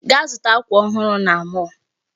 Gaa zụta akwa ọhụrụ na mall.